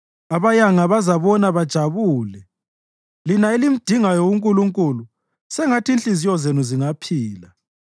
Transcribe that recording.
Abayanga bazabona bajabule lina elimdingayo uNkulunkulu, sengathi inhliziyo zenu zingaphila!